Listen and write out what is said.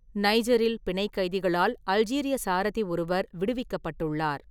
நைஜரில் பிணைக் கைதிகளால் அல்ஜீரிய சாரதி ஒருவர் விடுவிக்கப்பட்டுள்ளார்.